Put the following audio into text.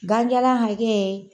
Gan jala hakɛ